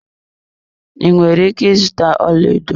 Ị nwere ike ịzụta ọlaedo